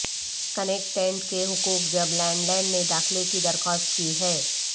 کنیکٹک tenant کے حقوق جب لینڈ لینڈ نے داخلہ کی درخواست کی ہے